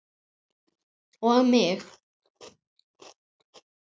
Og mig!